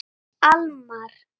Almar